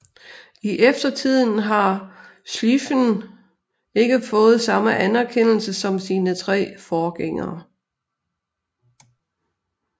I eftertiden har Schlieffen ikke fået samme anerkendelse som sine tre forgængere